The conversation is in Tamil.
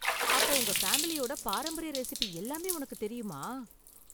அப்போ உங்க ஃபேமிலியோட பாரம்பரிய ரெஸிபி எல்லாமே உனக்கு தெரியுமா?